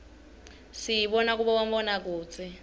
siyibona kubomabonakudze